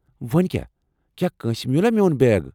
ووٚنۍ کیٛاہ؟ کیٛاہ کٲنٛسہِ مِیوٗلہ میون بیگ؟